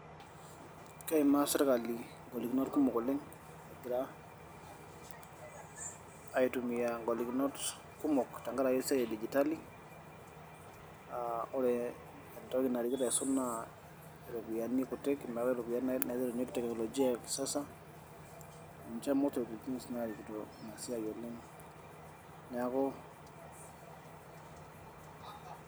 keimaa sirkali ng'olikinoot kumok egira aitumiaa ngoliknot kumok tenkaraki digitali wore entoki naisul oleng naa mpisai kutik metaii ropiyiani naiterunyieki technolojiaa ya kisasa neaku